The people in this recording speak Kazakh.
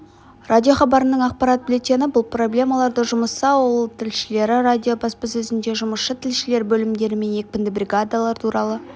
радиохабарының ақпарат бюллетені бұл проблемаларды жұмысшы-ауыл тілшілері радио баспасөзінде жұмысшы тілшілер бөлімдері мен екпінді бригадалар туралы